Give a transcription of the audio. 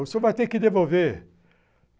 O senhor vai ter que devolver.